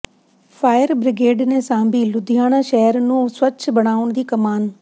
fire brigade ਨੇ ਸਾਂਭੀ ਲੁਧਿਆਣਾ ਸ਼ਹਿਰ ਨੂੰ ਸਵੱਛ ਬਣਾਉਣ ਦੀ ਕਮਾਨ